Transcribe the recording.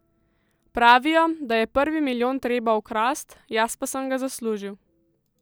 Pravijo, da je prvi milijon treba ukrast, jaz pa sem ga zaslužil.